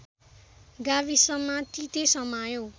गाविसमा तीते समायो